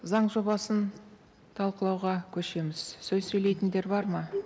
заң жобасын талқылауға көшеміз сөз сөйлейтіндер бар ма